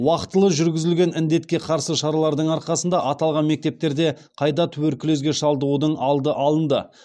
уақытылы жүргізілген індетке қарсы шаралардың арқасында аталған мектептерде қайта туберкулезге шалдығудың алды алынды